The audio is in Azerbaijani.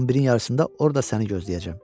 11-in yarısında orda səni gözləyəcəm.